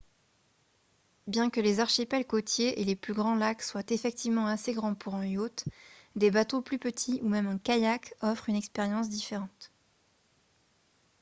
bien que les archipels côtiers et les plus grands lacs soient effectivement assez grands pour un yacht des bateaux plus petits ou même un kayak offrent une expérience différente